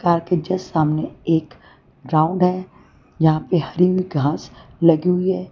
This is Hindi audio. कार के जस्ट सामने एक ग्राउंड है यहां पे हरी हुई घास लगी हुई है।